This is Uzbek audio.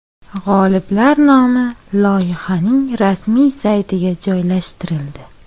G‘oliblar nomi loyihaning rasmiy saytiga joylashtirildi.